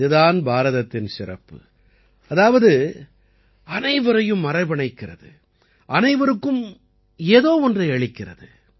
இது தான் பாரதத்தின் சிறப்பு அதாவது அனைவரையும் அரவணைக்கிறது அனைவருக்கும் ஏதோ ஒன்றை அளிக்கிறது